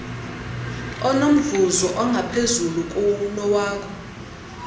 onomvuzo ongaphezulu kunowakho